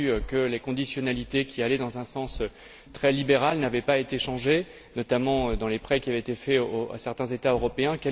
On a vu que les conditionnalités qui allaient dans un sens très libéral n'avaient pas été changées, notamment dans les prêts qui avaient été faits à certains États européens.